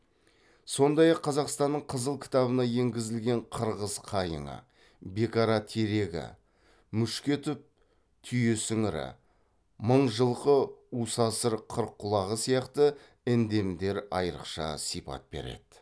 сондай ақ қазақстанның қызыл кітабына енгізілген қырғыз қайыңы бекара терегі мушкетов түйесіңірі мыңжылқы усасыр қырыққұлағы сияқты эндемдер айырықша сипат береді